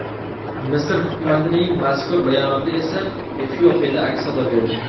Misr hukumatining mazkur bayonoti esa Efiopiyada aks-sado berdi.